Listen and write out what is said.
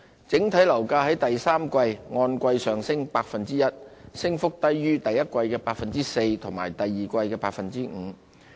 整體樓價在第三季按季上升 1%， 升幅低於第一季的 4% 及第二季的 5%。